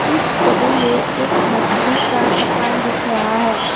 इस छवि में एक मछली का दुकान दिख रहा है।